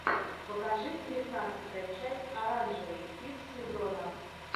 покажи девятнадцатая часть оранжевый хит сезона